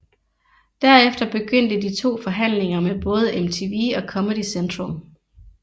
Derefter begyndte de to forhandlinger med både MTV og Comedy Central